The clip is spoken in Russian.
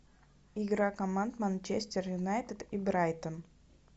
игра команд манчестер юнайтед и брайтон